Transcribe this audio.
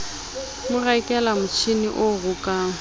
mo rekela motjhini o rokang